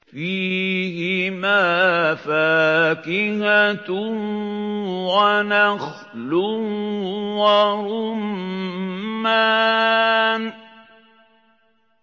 فِيهِمَا فَاكِهَةٌ وَنَخْلٌ وَرُمَّانٌ